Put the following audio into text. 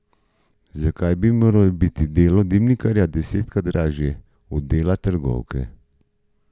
Zakaj bi moralo biti delo dimnikarja desetkrat dražje od dela trgovke?